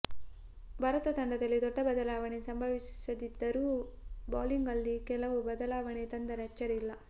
ಭಾರತ ತಂಡದಲ್ಲಿ ದೊಡ್ಡ ಬದಲಾವಣೆ ಸಂಭವಿಸದಿದ್ದರೂ ಬೌಲಿಂಗ್ನಲ್ಲಿ ಕೆಲವು ಬದಲಾವಣೆ ತಂದರೆ ಅಚ್ಚರಿಯಿಲ್ಲ